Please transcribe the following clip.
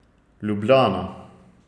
Ljubljana.